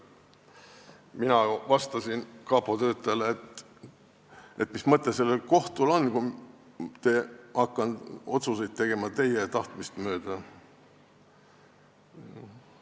Mina vastasin kapo töötajale, et mis mõte sellel kohtul siis on, kui ma hakkan otsuseid tegema teie tahtmist mööda.